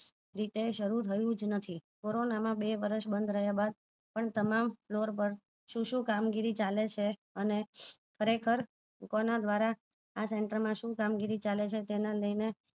શરુ થયું જ નથી કોરોના માં બે વર્ષ બંદ રહ્યા બાદ પણ તમામ floar પર શું શું કામ ગીરી ચાલે છે અને ખરેખર કોના દ્વારા આ center શું કામ ગીરી ચાલેછે તેને લઈને